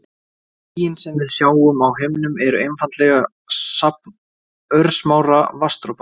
Skýin sem við sjáum á himninum eru einfaldlega safn örsmárra vatnsdropa.